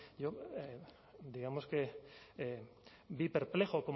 yo digamos que vi perplejo